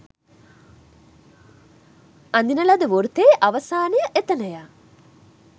අඳින ලද වෘතයේ අවසානය එතනය.